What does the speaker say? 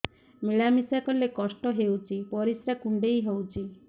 ମିଳା ମିଶା କଲେ କଷ୍ଟ ହେଉଚି ପରିସ୍ରା କୁଣ୍ଡେଇ ହଉଚି